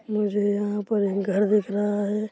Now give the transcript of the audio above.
मुझे यहाँ पर एक घर दिख रहा है।